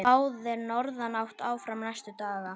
Spáð er norðanátt áfram næstu daga